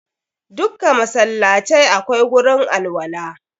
Dukka masallacai akwai gurin alwala.